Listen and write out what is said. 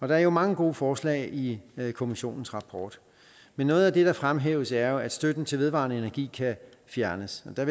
der er jo mange gode forslag i kommissionens rapport men noget af det der fremhæves er at støtten til vedvarende energi kan fjernes og der